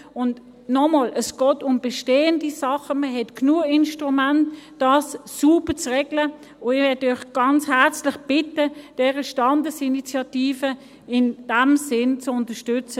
Und noch einmal: Es geht um bestehende Sachen, man hat genügend Instrumente, das sauber zu regeln, und ich möchte euch ganz herzlich bitten, diese Standesinitiative in diesem Sinne zu unterstützen.